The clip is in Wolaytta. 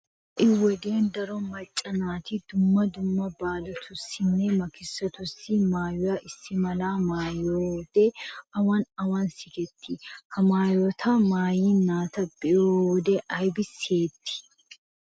Ha"i wodiyan daro macca naati dumma dumma baalatussinne makkisotussi maayiyo issi mala maayoti awan awan sikettiyonaa? Ha maayota maayiya naata be'iyo wode aybi siyettii?